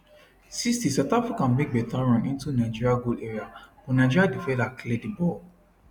60south africa make beta run into nigeri goal area but nigeria defender clear di ball